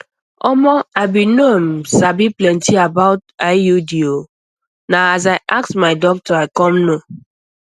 omo i bin no um sabi plenty about iud o na as i ask my doctor i come know